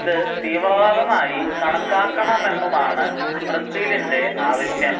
ഇത് തീവ്രവാദമായി കണക്കാക്കണമെന്നുമാണ് ബ്രസീലിന്റെ ആവശ്യം